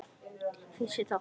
Fyrsti þáttur